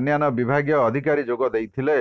ଅନ୍ୟାନ୍ୟ ବିଭାଗୀୟ ଅଧିକାରୀ ଯୋଗ ଦେଇଥିଲେ